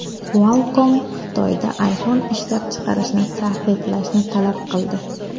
Qualcomm Xitoyda iPhone ishlab chiqarishni taqiqlashni talab qildi.